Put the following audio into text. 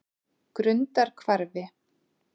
Grundarhvarfi